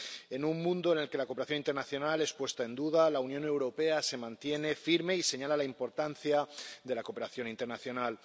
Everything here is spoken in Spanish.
En un mundo en el que la cooperación internacional es puesta en duda, la Unión Europea se mantiene firme y señala la importancia de la cooperación internacional.